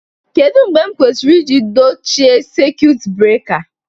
Kedu mgbe m kwesịrị iji dochie sekit breka?